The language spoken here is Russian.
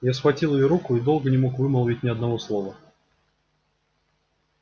я схватил её руку и долго не мог вымолвить ни одного слова